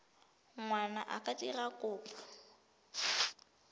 ngwana a ka dira kopo